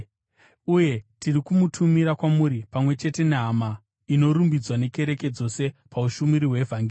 Uye tiri kumutumira kwamuri pamwe chete nehama inorumbidzwa nekereke dzose paushumiri hwevhangeri.